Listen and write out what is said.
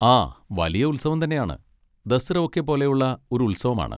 ആ വലിയ ഉത്സവം തന്നെയാണ്. ദസ്റ ഒക്കെ പോലെ ഉള്ള ഒരു ഉത്സവം ആണ്.